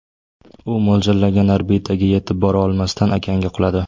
U mo‘ljallangan orbitaga yetib bora olmasdan, okeanga quladi.